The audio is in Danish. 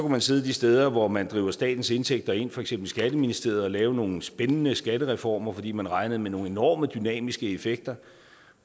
man sidde de steder hvor man driver statens indtægter ind for eksempel i skatteministeriet og lave nogle spændende skattereformer fordi man regnede med nogle enorme dynamiske effekter